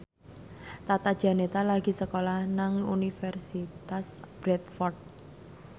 Tata Janeta lagi sekolah nang Universitas Bradford